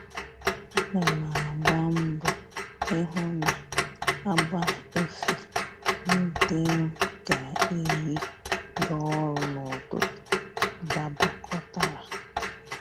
Ana m agba mbọ ịhụ na agba efe ndị m ga-eyi gaa ọrụ n'ụtụtụ dabakọtara